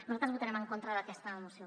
nosaltres votarem en contra d’aquesta moció